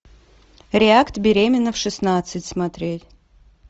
реакт беременна в шестнадцать смотреть